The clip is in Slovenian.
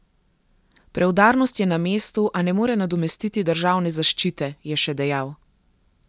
Preudarnost je na mestu, a ne more nadomestiti državne zaščite, je še dejal.